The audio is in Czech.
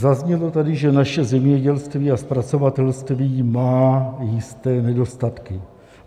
Zaznělo tady, že naše zemědělství a zpracovatelství má jisté nedostatky.